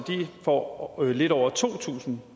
får lidt over to tusind